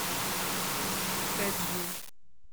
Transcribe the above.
хэджу